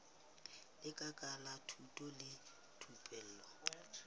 lekala la thuto le thupelo